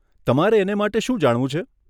તમારે એને માટે શું જાણવું છે?